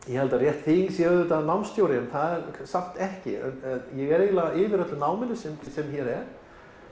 ég held að rétt þýðing sé auðvitað námsstjóri en það er samt ekki ég er eiginlega yfir öllu náminu sem hér er